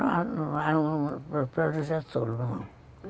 Ah... Getúlio